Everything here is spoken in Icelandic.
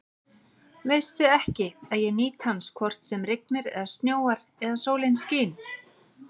Veistu ekki, að ég nýt hans hvort sem rignir eða snjóar eða sólin skín?